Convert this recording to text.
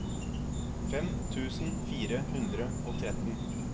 fem tusen fire hundre og tretten